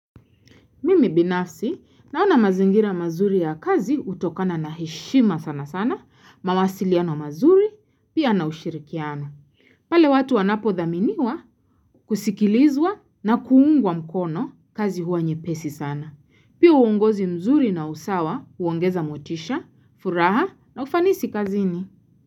Mimi binafsi naona mazingira mazuri ya kazi utokana na heshima sana sana, mawasiliano mazuri, pia na ushirikiano. Pale watu wanapo dhaminiwa kusikilizwa na kuungwa mkono kazi huwa nye pesi sana. Pia uongozi mzuri na usawa huongeza motisha, furaha na ufanisi kazini.